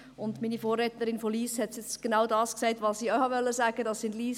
Meine Vorrednerin aus Lyss hat genau das gesagt, was ich auch sagen wollte: